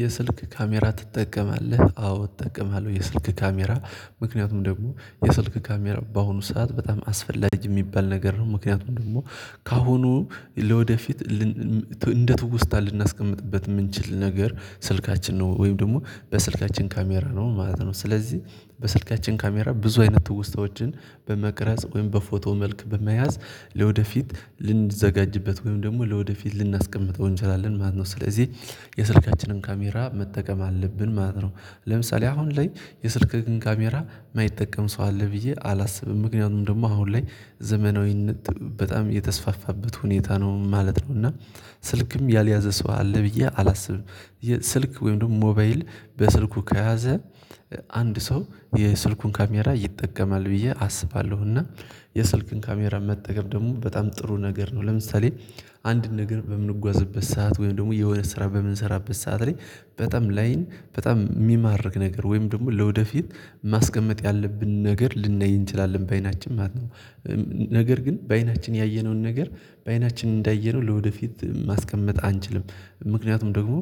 የስልክ ካሜራ ትጠቀማለህ? አዎ እጠቀማለሁ የስልክ ካሜራ፣ ምክንያቱም ደግሞ የስልክ ካሜራ በአሁኑ ሰዓት በጣም አስፈላጊ የሚባል ነገር ነው፣ ምክንያቱም ደግሞ ከአሁኑ ለወደፊት እንደ ትውስታ ልናስቀምጥበት የምንችል ነገር ስልካችን ነው ወይም ደግሞ በስልካችን ካሜራ ነው ማለት ነው። ስለዚህ፣ በስልካችን ካሜራ ብዙ አይነት ትውስታዎችን በመቅረጽ ወይም በፎቶ መልክ በመያዝ ለወደፊት ልንዘጋጅበት ወይም ደግሞ ለወደፊት ልናስቀምጠው እንችላለን ማለት ነው። ስለዚህ የስልካችንን ካሜራ መጠቀም አለብን ማለት ነው። ለምሳሌ አሁን ላይ የስልካችንን ካሜራ የማይጠቀም ሰው አለ ብዬ አላስብም ምክንያቱም ደግሞ አሁን ላይ ዘመናዊነት በጣም የተስፋፋበት ሁኔታ ነው ማለት ነው እና ስልክም ያልያዘ ሰው አለ ብዬ አላስብም፣ ስልክ ወይም ደግሞ ሞባይል በስልኩ ከያዘ አንድ ሰው የስልኩን ካሜራ ይጠቀማል ብዬ አስባለሁ እና የስልክን ካሜራ መጠቀም ደግሞ በጣም ጥሩ ነገር ነው። ለምሳሌ፣ አንድ ነገር በምንጓዝበት ሰዓት ወይም ደግሞ የሆነ ስራ በምንሰራበት ሰዓት ላይ፣ በጣም ለአይን በጣም የሚማርክ ነገር ወይም ደግሞ ለወደፊት ማስቀመጥ ያለብን ነገር ልናይ እንችላለን በአይናችን ማለት ነው። ነገር ግን በአይናችን ያየነውን ነገር በአይናችን እንዳየነው ለወደፊት ማስቀመጥ አንችልም። ምክንያቱም፣ ደግሞ